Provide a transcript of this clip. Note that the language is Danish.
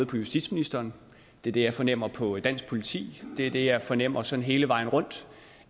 på justitsministeren det er det jeg fornemmer på dansk politi det er det jeg fornemmer sådan hele vejen rundt